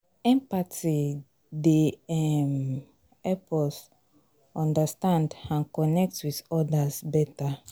empathy dey um help help us understand and connect with odas better.